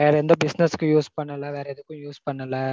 வேற எந்த business க்கும் use பண்ணல வேற எதுக்கும் use பண்ணல